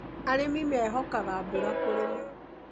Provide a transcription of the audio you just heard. Arĩmi mehokaga mbura kũrima.